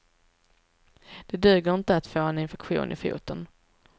Det duger inte att få en infektion i foten.